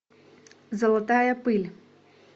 золотая пыль